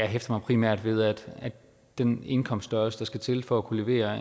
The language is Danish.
hæfter mig primært ved at den indkomststørrelse der skal til for at kunne levere